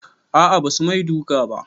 A'a basu mai duka ba